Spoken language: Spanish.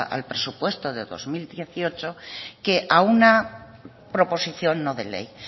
al presupuesto de dos mil dieciocho que a una proposición no de ley